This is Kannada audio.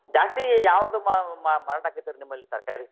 ಜಾಸ್ತಿ ಯಾವ್ದ್ ಮಾ~ ಮಾ~ ಮಾರಾಟ ಆಕ್ತೈತಿ ನಿಮ್ಮಲ್ಲಿ ತರಕಾರಿ?